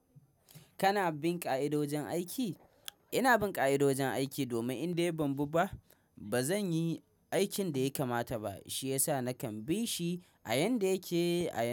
Kana bin ka'idojin aiki? Ina bin ƙa'idojin aiki domin in dai ban bi ba, ba zan yi aikin da ya kamata ba. Shi yasa nakan bi shi a yanda yake a yau.